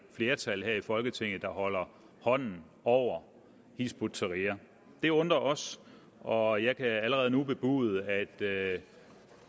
flertal her i folketinget der holder hånden over hizb ut tahrir det undrer os og jeg kan allerede nu bebude at